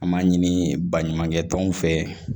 An m'a ɲini baɲumankɛ tɔnw fɛ